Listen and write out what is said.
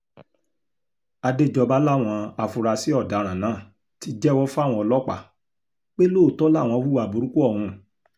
àdéjọba làwọn afurasí ọ̀daràn náà ti jẹ́wọ́ fáwọn ọlọ́pàá pé lóòótọ́ làwọn hùwà burúkú ọ̀hún